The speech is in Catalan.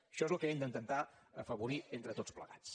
això és el que hem d’intentar afavorir entre tots plegats